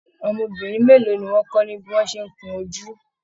Ọmọbìnrin mélòó ní wọn kọ ní bí wọn ṣe n kún ojú?